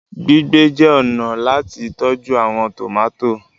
Gbígbé jé ọnà láti tọjú àwọn tomati.